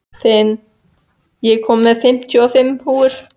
Finn, ég kom með fimmtíu og fimm húfur!